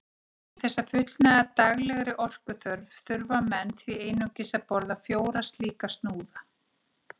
Til þess að fullnægja daglegri orkuþörf þurfa menn því einungis að borða fjóra slíka snúða.